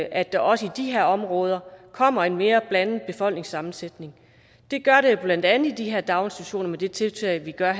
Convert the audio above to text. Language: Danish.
at der også i de her områder kommer en mere blandet befolkningssammensætning det gør der jo blandt andet i de her daginstitutioner med det tiltag vi gør